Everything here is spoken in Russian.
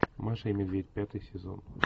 маша и медведь пятый сезон